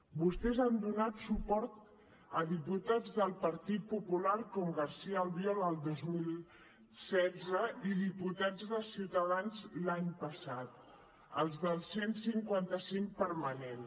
vostès han donat suport a diputats del partit popular com garcia albiol el dos mil setze i diputats de ciutadans l’any passat els del cent i cinquanta cinc permanent